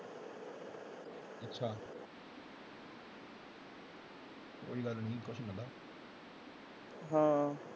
ਹਾਂ।